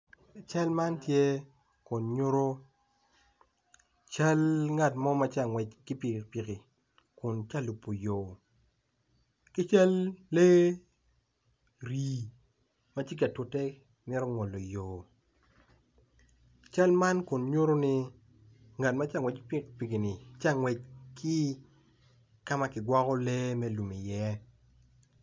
Cal man tye kun nyuto cal ngat ma tye ka ngwec ki pikipiki kun tye ka lubo yo ki cal lee rii ma tye ka tute me ngolo yo cal man kun nyuto ni ngat ma tye ka ngwec ki pikipiki tye ka ma kigwoko lee me lum iye.